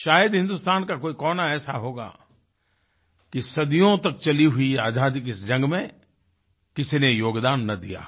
शायद हिंदुस्तान का कोई कोना ऐसा होगा कि सदियों तक चली हुई आज़ादी की इस जंग में किसी ने योगदान ना दिया हो